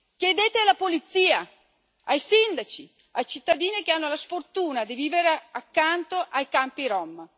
Chiedete alla polizia, ai sindaci, ai cittadini che hanno la sfortuna di vivere accanto ai campi rom.